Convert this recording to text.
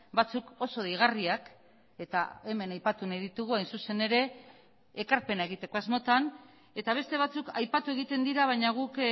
batzuk oso deigarriak eta hemen aipatu nahi ditugu hain zuzen ere ekarpena egiteko asmotan eta beste batzuk aipatu egiten dira baina guk